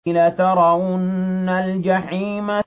لَتَرَوُنَّ الْجَحِيمَ